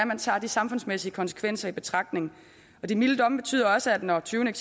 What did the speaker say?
man tager de samfundsmæssige konsekvenser i betragtning de milde domme betyder også at når tyvene